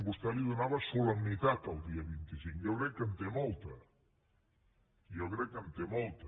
vostè li donava solemnitat al dia vint cinc jo crec que en té molta jo crec que en té molta